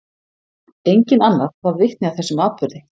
Enginn annar varð vitni að þessum atburði.